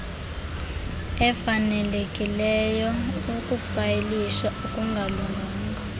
efanelekileyo ukufayilisha okungalunganga